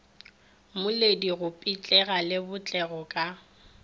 moledi go pitlega lebotlelo ka